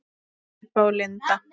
Heba og Linda.